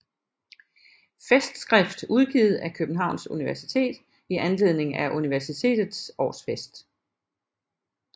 Festskrift udgivet af Københavns Universitet i anledning af Universitetets årsfest